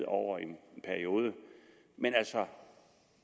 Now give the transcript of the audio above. over en periode